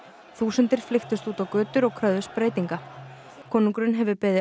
þúsundir flykktust út á götur og kröfðust breytinga konungurinn hefur beðið